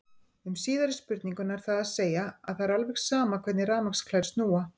Um síðari spurninguna er það að segja að það er alveg sama hvernig rafmagnsklær snúa.